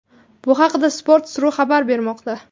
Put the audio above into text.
Bu haqda Sports.ru xabar bermoqda .